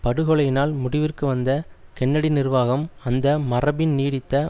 படுகொலையினால் முடிவிற்கு வந்த கென்னடி நிர்வாகம் அந்த மரபின் நீடித்த